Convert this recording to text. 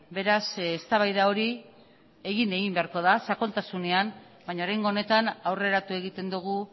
beraz eztabaida hori egin egin beharko da sakontasunean baina oraingo honetan aurreratu egiten dugu